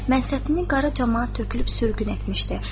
Mənsətini Qara camaat tökülüb sürgün etmişdi.